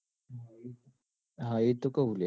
હા એતો કૌ લ્યા